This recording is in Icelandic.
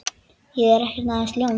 Ég er ekki aðeins ljón.